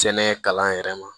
Sɛnɛ kalan yɛrɛ ma